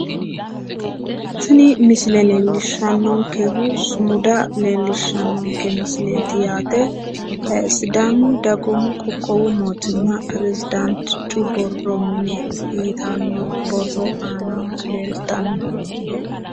Tini misile leellishshannonkehu sumuda leellsihshsannonke misileeti yaate sidaamu dagoomu qoqqowu mootimma peresidaantichu borro mine yitanno borro aanaho leeltanno.